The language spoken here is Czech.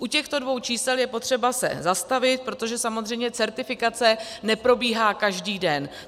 U těchto dvou čísel je potřeba se zastavit, protože samozřejmě certifikace neprobíhá každý den.